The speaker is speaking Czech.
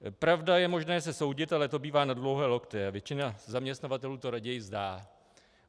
Pravda, je možné se soudit, ale to bývá na dlouhé lokte a většina zaměstnavatelů to raději vzdá.